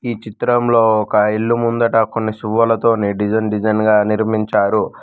ఈ చిత్రంలో ఒక ఇల్లు ముందట కొన్ని సువ్వలతో డిజైన్ డిజైన్ గా నిర్మించారు.